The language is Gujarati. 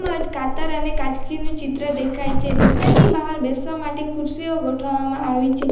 માં આજ કાતર અને કાચકીનું ચિત્ર દેખાય છે દુકાનની બહાર બેસવા માટે ખુરશીઓ ગોઠવવામાં આવી છે.